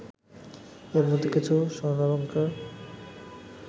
এর মধ্যে কিছু স্বর্ণালঙ্কার